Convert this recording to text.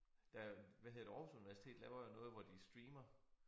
Der hvad hedder det Aarhus Universitet laver noget hvor de streamer